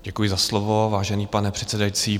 Děkuji za slovo, vážený pane předsedající.